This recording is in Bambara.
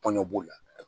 Tɔn b'o la